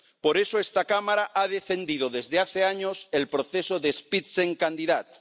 Por eso esta Cámara ha defendido desde hace años el proceso del Spitzenkandidat